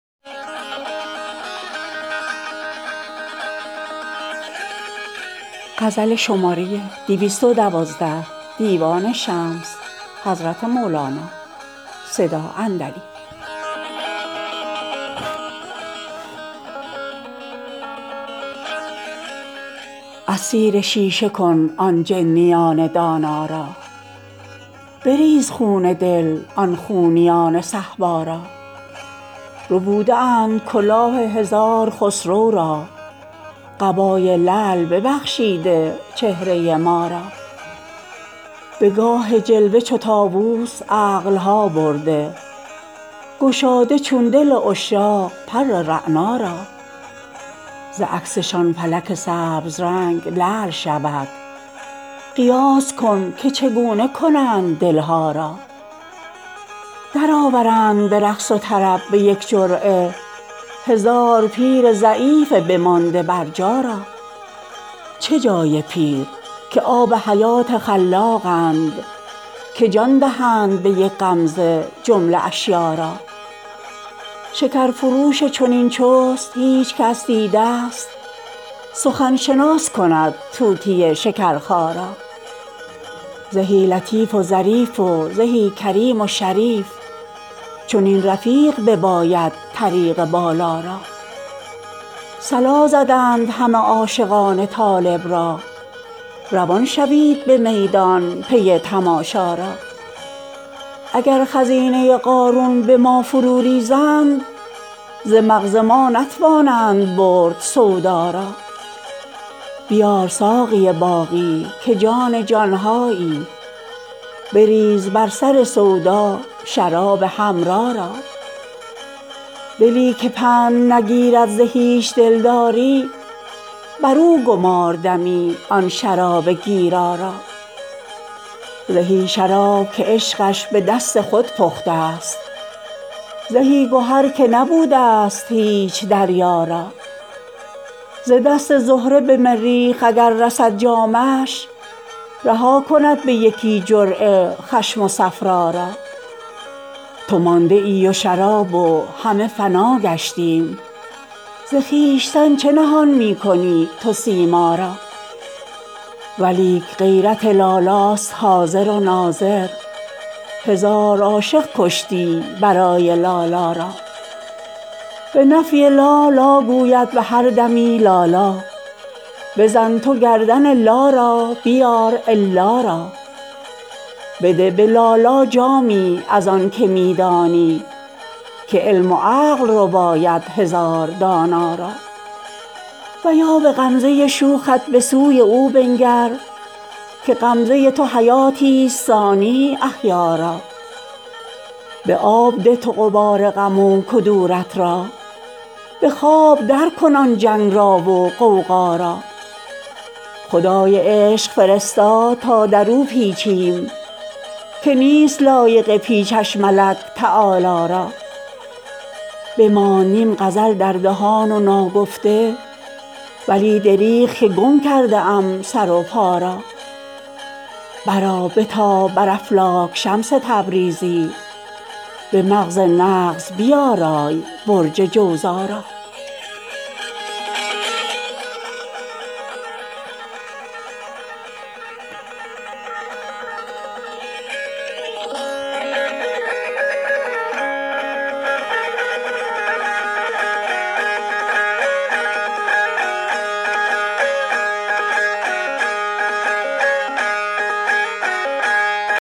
اسیر شیشه کن آن جنیان دانا را بریز خون دل آن خونیان صهبا را ربوده اند کلاه هزار خسرو را قبای لعل ببخشیده چهره ما را به گاه جلوه چو طاووس عقل ها برده گشاده چون دل عشاق پر رعنا را ز عکسشان فلک سبز رنگ لعل شود قیاس کن که چگونه کنند دل ها را درآورند به رقص و طرب به یک جرعه هزار پیر ضعیف بمانده برجا را چه جای پیر که آب حیات خلاقند که جان دهند به یک غمزه جمله اشیاء را شکرفروش چنین چست هیچ کس دیده ست سخن شناس کند طوطی شکرخا را زهی لطیف و ظریف و زهی کریم و شریف چنین رفیق بباید طریق بالا را صلا زدند همه عاشقان طالب را روان شوید به میدان پی تماشا را اگر خزینه قارون به ما فروریزند ز مغز ما نتوانند برد سودا را بیار ساقی باقی که جان جان هایی بریز بر سر سودا شراب حمرا را دلی که پند نگیرد ز هیچ دلداری بر او گمار دمی آن شراب گیرا را زهی شراب که عشقش به دست خود پخته ست زهی گهر که نبوده ست هیچ دریا را ز دست زهره به مریخ اگر رسد جامش رها کند به یکی جرعه خشم و صفرا را تو مانده ای و شراب و همه فنا گشتیم ز خویشتن چه نهان می کنی تو سیما را ولیک غیرت لالاست حاضر و ناظر هزار عاشق کشتی برای لالا را به نفی لا لا گوید به هر دمی لالا بزن تو گردن لا را بیار الا را بده به لالا جامی از آنک می دانی که علم و عقل رباید هزار دانا را و یا به غمزه شوخت به سوی او بنگر که غمزه تو حیاتی ست ثانی احیا را به آب ده تو غبار غم و کدورت را به خواب درکن آن جنگ را و غوغا را خدای عشق فرستاد تا در او پیچیم که نیست لایق پیچش ملک تعالی را بماند نیم غزل در دهان و ناگفته ولی دریغ که گم کرده ام سر و پا را برآ بتاب بر افلاک شمس تبریزی به مغز نغز بیارای برج جوزا را